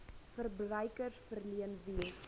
verbruikers verleen wie